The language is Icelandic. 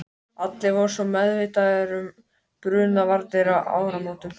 En af hverju fá þeir og við ekki skýrari svör?